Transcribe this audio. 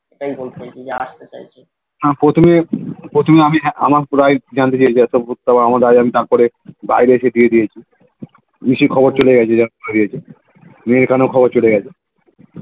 আসতে চাইছে